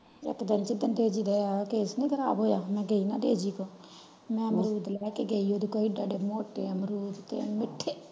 ਇਕ ਦਿਨ ਜਿਨੱਦੰ ਤੇਜੀ ਦਾ taste ਨੀ ਖਰਾਬ ਹੋਇਆ ਮੈਂ ਗਈ ਨਾ ਤੇਜੀ ਕੋਲ ਮੈਂ ਅਮਰੂਦ ਲਾਇ ਕ ਗਯੀ ਓਹਦੇ ਕੋਲ ਇਹਦੇ ਇਹਦੇ ਮੋਟੇ ਅਮਰੂਦ ਤੇ ਮਿੱਠੇ।